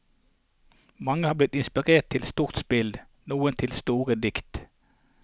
Mange har blitt inspirert til stort spill, noen til store dikt.